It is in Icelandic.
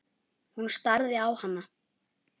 Hún starði á hana.